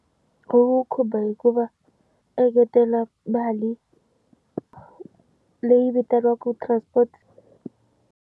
Ku khumba hikuva engetela mali leyi vitaniwaka transport.